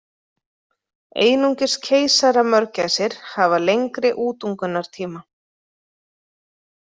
Einungis keisaramörgæsir hafa lengri útungunartíma.